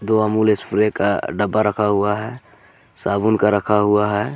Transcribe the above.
दो अमूल स्प्रे का डब्बा रखा हुआ है साबुन का रखा हुआ है।